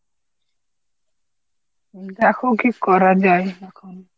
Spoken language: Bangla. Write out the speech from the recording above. দেখো কি করা যায়।